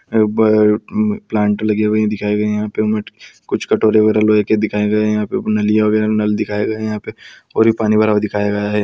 Plant लगे हुए दिखाई दे रहे है यहाँ पे हमें कुछ कटोरे वगेरा लोहे के दिखाई दे रहे है यहाँ पे नलिया वगेरा नल दिखाये गए है यहाँ पे और पानी भरा हुआ दिखाया गया है।